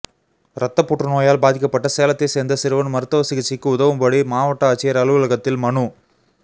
ரத்தப்புற்று நோயால் பாதிக்கப்பட்ட சேலத்தைச் சேர்ந்த சிறுவன் மருத்துவ சிகிச்சைக்கு உதவும்படி மாவட்ட ஆட்சியர் அலுவலகத்தில் மனு